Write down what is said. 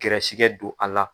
Gɛrɛsɛgɛ don a la